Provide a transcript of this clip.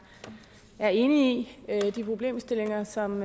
er enig i de problemstillinger som